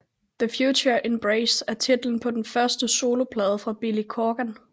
TheFutureEmbrace er titlen på den første soloplade fra Billy Corgan